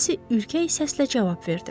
Nensi ürkək səslə cavab verdi.